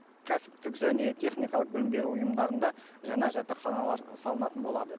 кәсіптік және техникалық білім беру ұйымдарында жаңа жатақханалар салынатын болады